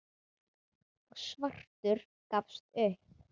og svartur gafst upp.